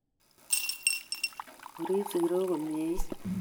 Orip sikirok komiet